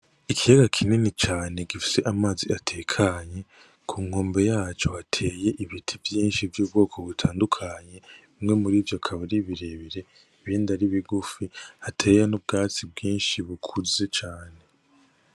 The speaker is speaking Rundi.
Ikiyaga kinini cane gifise amazi atekanye ku nkombe yaco hateye ibiti vyishi vy'ubwoko butandukanye bimwe muri ivyo ni birebire ibindi ari bigufi hateye n'ubwatsi bwishi bukuze cane.